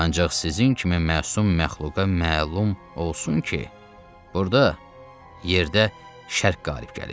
Ancaq sizin kimi məsum məxluqa məlum olsun ki, burda, yerdə şər qalib gəlir.